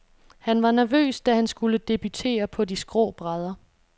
Han var nervøs, da han skulle debutere på de skrå brædder.